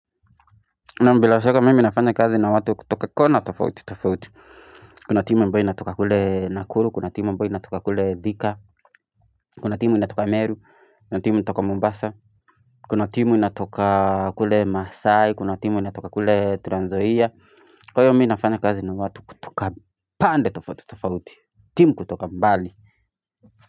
Naam bilashaka mimi nafanya kazi na watu kutoka kona tofauti tofauti, kuna timu amboyo inatoka kule Nakuru, kuna timu amboyo inatoka kule Thika, kuna timu inatoka Meru, kuna timu inatoka Mombasa, kuna timu inatoka kule Masai, kuna timu inatoka kule Tranzoia, kwa hiyo mimi nafanya kazi na watu kutoka pande tofauti tofauti, timu kutoka mbali.